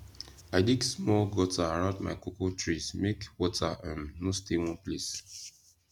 i dig small gutter around my cocoa trees make water um no stay one place